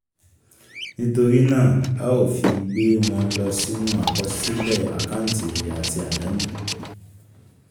nítorí náà a ó fi gbé wọ́n lọ sínú àkọsílẹ̀ àkáǹtí èrè àti àdánù.